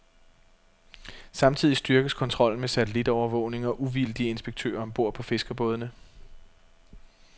Samtidig styrkes kontrollen med satellitovervågning og uvildige inspektører om bord på fiskerbådene.